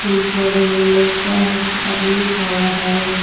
टेम्पुआ भीर एगो लइका हइ आदमी खड़ा हइ।